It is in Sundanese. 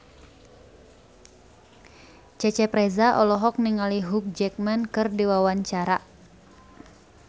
Cecep Reza olohok ningali Hugh Jackman keur diwawancara